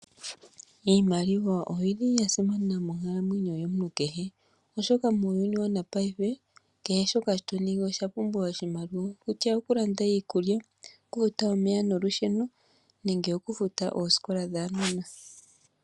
Iiimaliwa oyili yasimana monkalamwenyo yomuntu kehe , oshoka muuyuni wongashingeyi kehe shoka tatu ningi oshapumbwa oshimaliwa. Okutya ookulanda iikulya, okufuta omeya noosikola dhuunona.